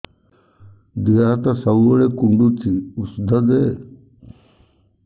ଦିହ ହାତ ସବୁବେଳେ କୁଣ୍ଡୁଚି ଉଷ୍ଧ ଦେ